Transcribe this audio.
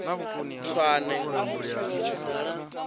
tswane